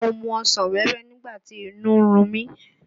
Mo mu ọsàn wẹ́wẹ́ nígbà tí inú ń run mí.